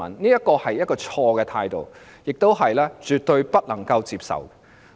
這是一種錯誤的態度，是絕對不能接受的。